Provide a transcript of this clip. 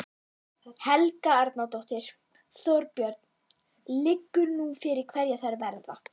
Helga Arnardóttir: Þorbjörn, liggur nú fyrir hverjar þær verða?